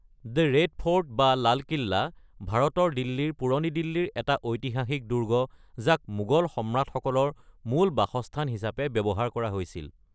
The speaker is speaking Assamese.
দি ৰেদ ফ'ৰ্ট বা লাল কিল্লা ভাৰতৰ দিল্লীৰ পুৰণি দিল্লীৰ এটা ঐতিহাসিক দুৰ্গ, যি মোগল সম্ৰাটসকলৰ মূল বাসস্থান হিচাপে ব্যৱহাৰ কৰিছিল।